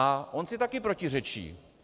A on si taky protiřečí.